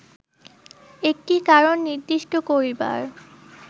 একটি কারণ নির্দিষ্ট করিবার